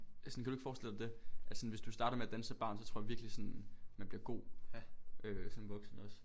Altså sådan kan du ikke forstille dig det? At sådan hvis du starter med at danse som barn så tror jeg virkelig sådan man bliver god øh som voksen også